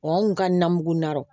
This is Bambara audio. Wa anw kun ka na mugu na